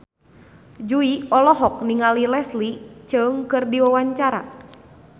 Jui olohok ningali Leslie Cheung keur diwawancara